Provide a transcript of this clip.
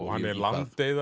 hann er